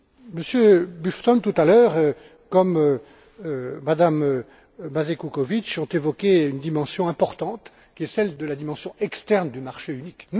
mois Monsieur Bufton, tout à l'heure, comme Mme Mazej Kukovič, ont évoqué une dimension importante, qui est celle de la dimension externe du marché unique.